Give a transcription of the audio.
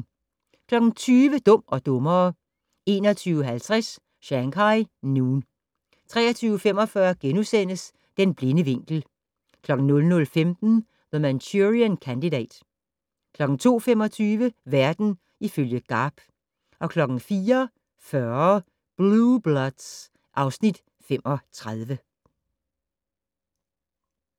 20:00: Dum og dummere 21:50: Shanghai Noon 23:45: Den blinde vinkel * 00:15: The Manchurian Candidate 02:25: Verden ifølge Garp 04:40: Blue Bloods (Afs. 35)